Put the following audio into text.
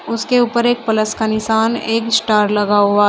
उसके ऊपर एक प्लस का निशान एक स्टार लगा हुआ--